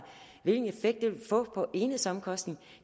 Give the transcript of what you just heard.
hvilken effekt det vil få på enhedsomkostningen